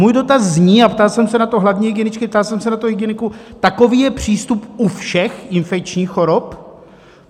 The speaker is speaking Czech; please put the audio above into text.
Můj dotaz zní - a ptal jsem se na to hlavní hygieničky, ptal jsem se na to hygieniků: Takový je přístup u všech infekčních chorob?